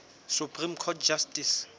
supreme court justice